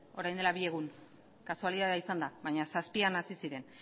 orain dela bi egun kasualitatea izan da baina zazpian hasi ziren